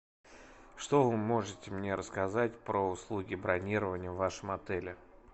что вы можете мне рассказать про услуги бронирования в вашем отеле